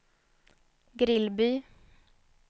Grillby